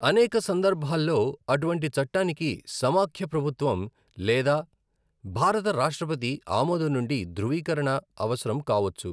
అనేక సందర్భాల్లో, అటువంటి చట్టానికి సమాఖ్య ప్రభుత్వం లేదా భారత రాష్ట్రపతి ఆమోదం నుండి ధృవీకరణ అవసరం కావొచ్చు.